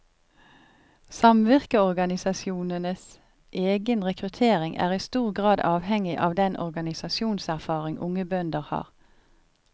Samvirkeorganisasjonenes egen rekruttering er i stor grad avhengig av den organisasjonserfaring unge bønder har.